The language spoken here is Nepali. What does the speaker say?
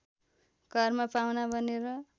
घरमा पाहुना बनेर